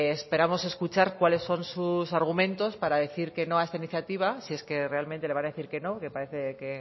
esperamos escuchar cuáles son sus argumentos para decir que no a esta iniciativa si es que realmente le va a decir que no que parece que